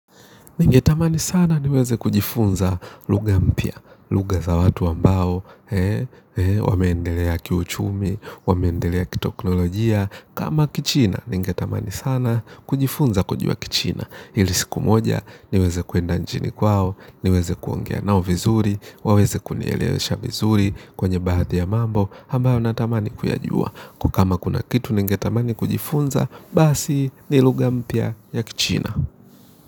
Ningetamani sana niweze kujifunza luga mpia, luga za watu ambao, wameendelea kiuchumi, wameendelea ki-teknolojia, kama kichina, ningetamani sana kujifunza kujua kichina. Ilisiku moja, niweze kwenda nchini kwao, niweze kuongea nao vizuri, waweze kunielewesha vizuri kwenye bahathi ya mambo, ambayo natamani kuyajua. Kwa kama kuna kitu, ningetamani kujifunza, basi ni luga mpia ya kichina.